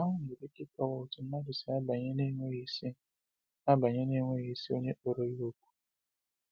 Nke ahụ nwere ike ịkọwa otú mmadụ si abanye n’enweghị si abanye n’enweghị onye kpọrọ ha òkù.